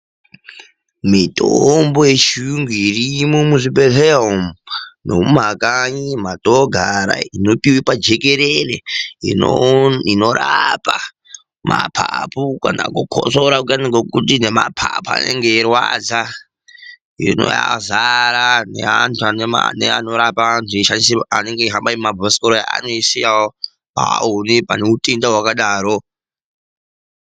Mitombo yechiyungu irimwo muzvibhedhlera umu nemuma kanyi matogara inopiwa pajekerere inorapa mapapu kana kukutsora kuyani kwekuti nemapapu anenge eirwadza. Hino yadzara neandu anorapa andu eihamba nebhasikoro achiisiyawo awone panehutenda hwakadaro.